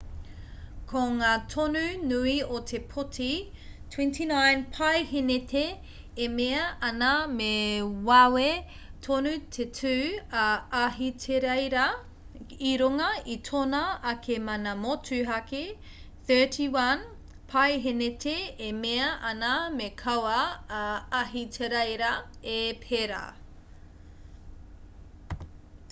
ko ngā tonu nui o te pōti 29 paeheneti e mea ana me wawe tonu te tū a ahitereiria i runga i tōna ake mana motuhake 31 paeheneti e mea ana me kaua a ahitereiria e pērā